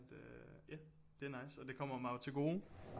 Ja det er nice og det kommer mig jo til gode